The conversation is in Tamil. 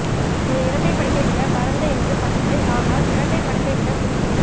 ஒரு இரட்டை படுக்கை விட பரந்த என்று படுக்கை ஆனால் இரட்டை படுக்கை விட குறுகிய